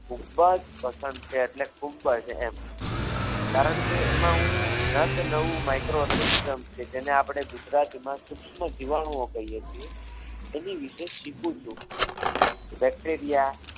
ખૂબ જ પસંદ છે એટલે ખૂબ જ એમ કારણ કે એમાં હું ન તે નવુ microorganism છે જેને આપણે ગુજરાતીમાં સૂક્ષ્મ જીવાણુ કહીએ છીએ એની વિશેષ શીખું છું bacteria